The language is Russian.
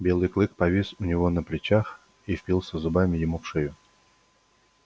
белый клык повис у него на плечах и впился зубами ему в шею